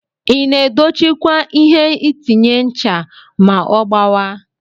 Ina edocchi kwa ihe inatinye ncha ma ogbawa?